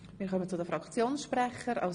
Wir kommen zu den Fraktionssprechenden.